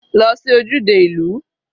Lọ sí ojúde ìlú.